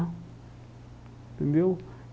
Entendeu?